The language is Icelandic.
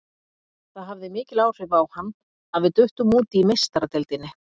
Það hafði mikil áhrif á hann að við duttum út í Meistaradeildinni.